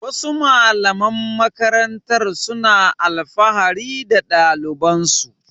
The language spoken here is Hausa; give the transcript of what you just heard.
Wasu malaman makarantar suna alfahari da ɗalibansu.